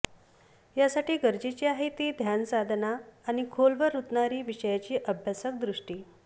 यासाठी गरजेची आहे ती ध्यानसाधना आणि खोलवर रुतणारी विषयाची अभ्यासक दृष्टी